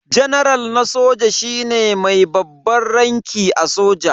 Janaral na soja shine mai babban ranki a soja.